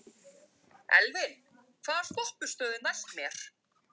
Lillý: Hefur áður verið flutt tónverk svona með þessum hætti?